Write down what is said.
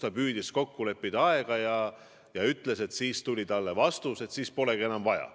Ta püüdis aega kokku leppida, aga tema sõnul tuli talle vastus, et siis polegi enam vaja.